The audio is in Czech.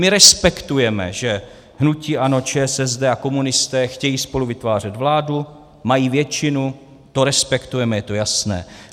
My respektujeme, že hnutí ANIO, ČSSD a komunisté chtějí spolu vytvářet vládu, mají většinu, to respektujeme, to je jasné.